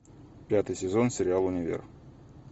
пятый сезон сериал универ